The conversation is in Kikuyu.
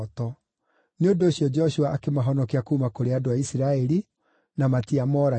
Nĩ ũndũ ũcio Joshua akĩmahonokia kuuma kũrĩ andũ a Isiraeli, na matiamoragire.